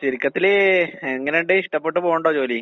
ചുരുക്കത്തില് എങ്ങനൊണ്ട് ഇഷ്ടപ്പെട്ട് പോണൊണ്ടോ ജോലി?